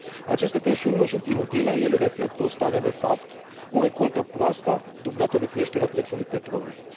Aceste tensiuni nu sunt inutile, ele reflectă o stare de fapt, o recoltă proastă, dublată de creșterea prețului petrolului.